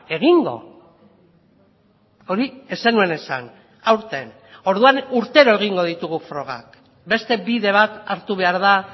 egingo hori ez zenuen esan aurten orduan urtero egingo ditugu frogak beste bide bat hartu behar da